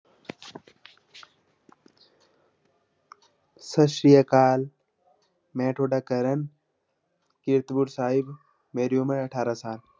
ਸਤਿ ਸ੍ਰੀ ਅਕਾਲ ਮੈਂ ਤੁਹਾਡਾ ਕਰਨ ਕੀਰਤਪੁਰ ਸਾਹਿਬ, ਮੇਰੀ ਉਮਰ ਹੈ ਅਠਾਰਾਂ ਸਾਲ।